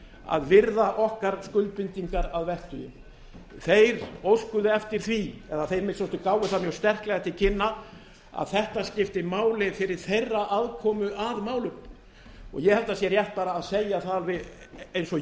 að virða okkar skuldbindingar að vettugi þeir óskuðu eftir því eða þeir að minnsta kosti gáfu það mjög sterklega til kynna að þetta skipti máli fyrir þeirra aðkomu að málum ég held að það sé rétt bara að segja það eins og